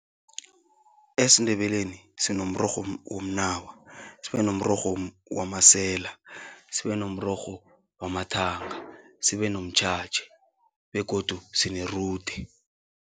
EsiNdebeleni sinomrorho womnawa, sibe nomrorho wamasela sibe kunomrorho wamathanga, sibe nomtjhatjha begodu sinerude.